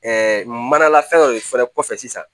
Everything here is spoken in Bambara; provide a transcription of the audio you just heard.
manalafɛn dɔ de fɛnɛ kɔfɛ sisan